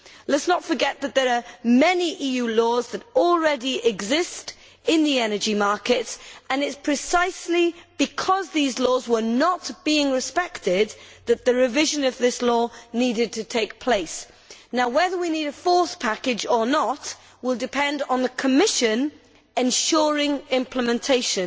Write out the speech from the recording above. Let us not forget that there are many EU laws that already exist in the energy markets, and it is precisely because these laws were not being respected that the revision of this law needed to take place. Whether we need a fourth package or not will depend on the Commission ensuring implementation